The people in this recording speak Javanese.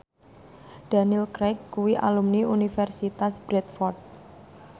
Daniel Craig kuwi alumni Universitas Bradford